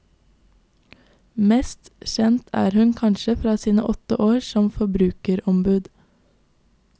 Mest kjent er hun kanskje fra sine åtte år som forbrukerombud.